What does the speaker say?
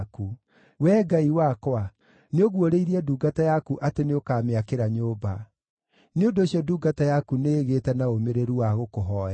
“Wee Ngai wakwa, nĩũguũrĩirie ndungata yaku atĩ nĩũkamĩakĩra nyũmba. Nĩ ũndũ ũcio ndungata yaku nĩĩgĩĩte na ũmĩrĩru wa gũkũhooya.